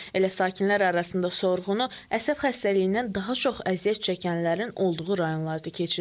Elə sakinlər arasında sorğunu əsəb xəstəliyindən daha çox əziyyət çəkənlərin olduğu rayonlarda keçirdik.